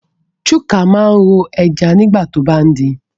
Chuka máa ń ro ẹja nígbà tó bá ń din